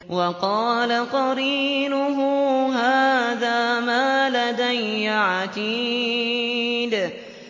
وَقَالَ قَرِينُهُ هَٰذَا مَا لَدَيَّ عَتِيدٌ